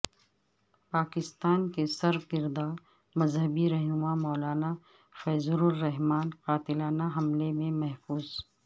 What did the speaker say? پاکستان کے سرکردہ مذہبی رہنما مولانا فضل الرحمن قاتلانہ حملہ میں محفوظ